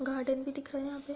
Garden भी दिख रहा हैं। यहाँ पे --